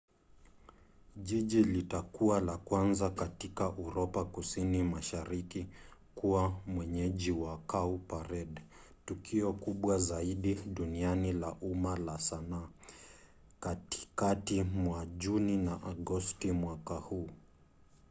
jiji litakuwa la kwanza katika uropa kusini mashariki kuwa mwenyeji wa cowparade tukio kubwa zaidi duniani la umma la sanaa katikati mwa juni na agosti mwaka huu